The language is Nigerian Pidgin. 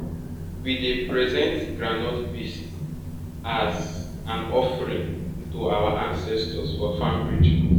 we dey present groundnut paste as and offering to our ancestors for farm rituals